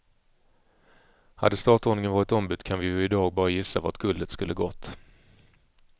Hade startordningen varit ombytt kan vi ju i dag bara gissa vart guldet skulle gått.